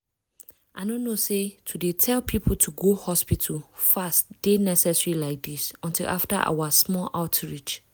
i no know say to dey tell people to go hospital fast dey necessary like this until after our small outreach.